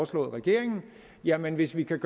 til regeringen jamen hvis vi kan